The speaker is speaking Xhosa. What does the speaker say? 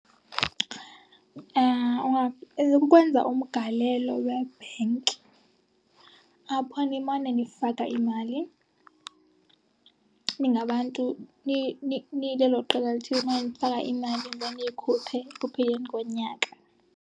Ukwenza umgalelo webhenki apho nimane nifaka imali ningabantu, nilelo qela lithile, nimane nifaka imali then niyikhuphe ekupheleni konyaka.